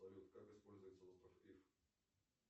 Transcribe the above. салют как используется остров ив